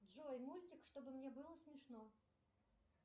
джой мультик чтобы мне было смешно